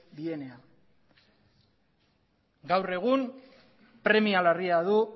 dienean gaur egun premia larria du